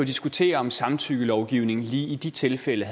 diskutere om samtykkelovgivningen lige i de tilfælde